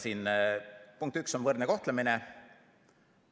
Siin punkt üks on võrdne kohtlemine.